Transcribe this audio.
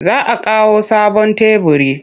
Za a kawo sabon teburi.